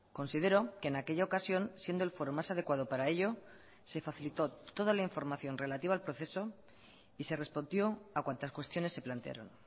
considero que en aquella ocasión siendo el foro más adecuado para ello se facilitó toda la información relativa al proceso y se respondió a cuantas cuestiones se plantearon